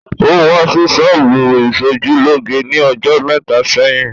Ó wá sí ṣọ́bù ìsojúlóge ní ọjọ́ mẹ́ta sẹ́yìn